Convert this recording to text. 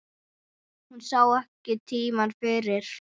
Hún sá ekki tímann fyrir.